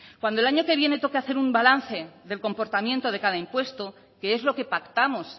cuando el año que viene lo que hacer un balance del comportamiento de cada impuesto que es lo que pactamos